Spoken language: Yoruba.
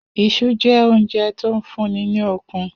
Is̩u jé̩ oúnje̩ tó ń fún ni ní okun